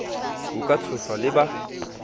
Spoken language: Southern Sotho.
ho ka tshohlwa le ba